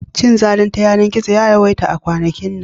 Cinzali ta yanar-gizo ya yawaita a kwanakin nan.